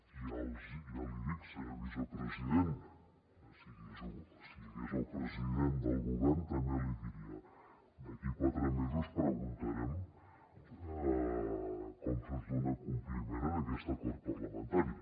i ja l’hi dic senyor vicepresident si hi hagués el president del govern també l’hi diria d’aquí a quatre mesos preguntarem com es dona compliment a aquest acord parlamentari